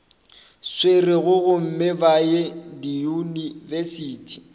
swerego gomme ba ye diyunibesithi